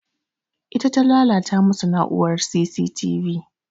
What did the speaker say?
Ita ta lalata masu na'urar C.C.V.T